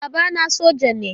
E, babana soja ne.